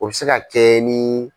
U bi se ka kɛ ni.